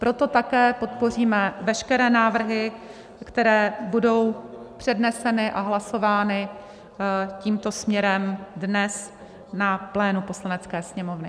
Proto také podpoříme veškeré návrhy, které budou předneseny a hlasovány tímto směrem dnes na plénu Poslanecké sněmovny.